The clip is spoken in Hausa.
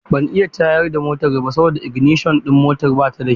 Ban iya tayar da motar ba saboda iginishon motar ba ta da kyau.